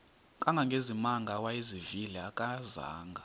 kangangezimanga awayezivile akazanga